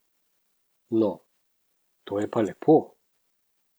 No, to je pa lepo.